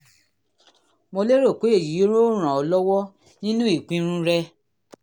mo lérò pé èyí yóò ràn ọ́ lọ́wọ́ nínú ìpinnu rẹ